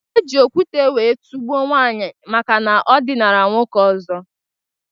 Eji okwute wee tugbuo nwaanyi maka na o dinara nwoke ọzọ